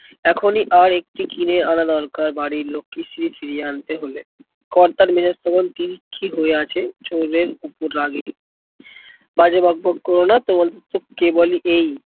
এখনই আর একটা কিনে আনা দরকার বাড়ির লক্ষ্মীশ্রী ফিরিয়ে আন্তে হলে। কর্তার মেজাজ তখন তিরিক্ষি হয়ে আছে চোরের উপর রাগে। বাজে বকবক করোনা তোমাদের এসব কে বলে এই